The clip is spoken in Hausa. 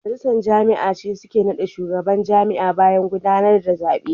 Majalisar jami'a ne suke nada shugaban jami'a bayan gudanar da zabe.